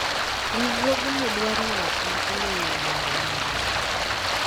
riwruogni dwaro ng'at ma ong'eyo riembo nyamburko